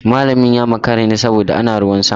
Malamin ya makara ne saboda ana ruwan sama.